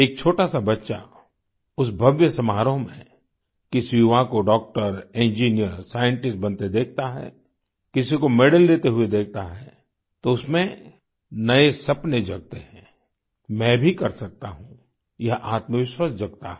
एक छोटा सा बच्चा उस भव्य समारोह में किसी युवा को डॉक्टर इंजिनियर साइंटिस्ट बनते देखता है किसी को मेडल लेते हुए देखता है तो उसमें नए सपने जगते है मैं भी कर सकता हूँ यह आत्मविश्वास जगता है